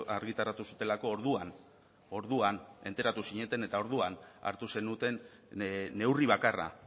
argitaratu zutelako orduan orduan enteratu zineten eta orduan hartu zenuten neurri bakarra